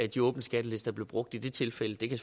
de åbne skattelister blev brugt i det tilfælde det kan